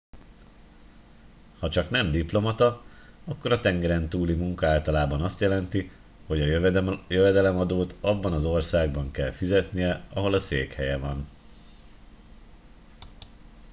hacsak nem diplomata akkor a tengeren túli munka általában azt jelenti hogy a jövedelemadót abban az országban kell fizetnie ahol a székhelye van